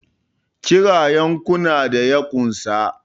Kira yankuna da ya unsa!